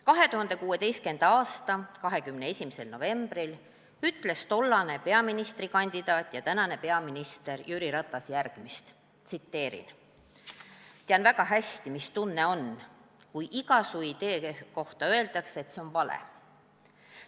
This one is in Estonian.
2016. aasta 21. novembril ütles tollane peaministrikandidaat ja tänane peaminister Jüri Ratas järgmist: "Tean väga hästi, mis tunne on, kui iga su idee kohta öeldakse, et see on vale.